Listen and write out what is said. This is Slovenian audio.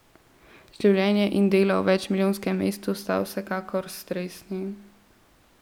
Življenje in delo v večmilijonskem mestu sta vsekakor stresni.